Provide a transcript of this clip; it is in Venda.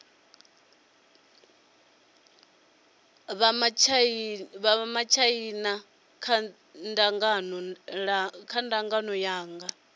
vha matshaina kha dzangano langa